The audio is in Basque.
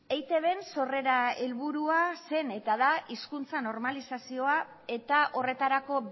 eitbn sorrera helburua zen eta da hizkuntza normalizazioa eta horretarako